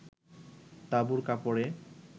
তাঁবুর কাপড়ে